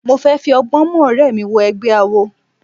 Mo fẹ́ fi ọgbọ́n mú ọ̀rẹ́ mi wọ egbẹ́ awo.